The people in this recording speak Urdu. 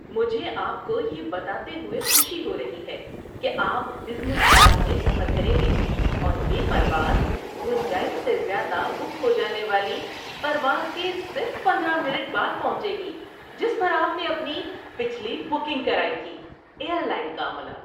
مجھے آپ کو یہ بتاتے ہوئے خوشی ہو رہی ہے کہ آپ بزنس کلاس میں سفر کریں گے اور یہ پرواز گنجائش سے زیادہ بک ہو جانے والی پرواز کے صرف پندرہ منٹ بعد پہنچے گی جس پر آپ نے اپنی پچھلی بکنگ کرائی تھی۔ (ایئر لائن کا عملہ)